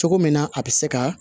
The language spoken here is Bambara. Cogo min na a bɛ se ka